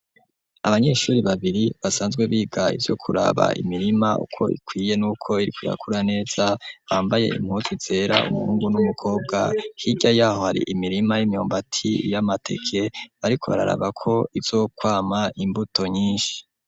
Abanyeshuri babiri basanzwe biga ivyo kuraba imirima uko ikwiye nuko iriko irakura neza ,bambaye impuzu zera umuhungu n'umukobwa, hirya yaho hari imirima y'imyumbati, y'amateke ,bariko bararaba ko izokwama imbuto nyinshi.